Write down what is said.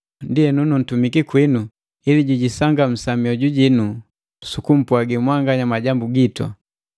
Ndienu nuntumiki kwinu ili jijisangamusa mioju jino sukumpwagi mwanganya majambu gitu.